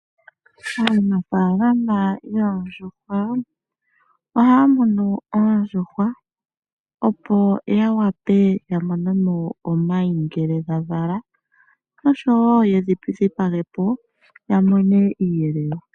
Aanfaalama yoondjuhwa, ohaya munu oondjuhwa opo yawape ya monemo omayi ngele dha vala osho woo yedhi dhipagepo yamone onyama.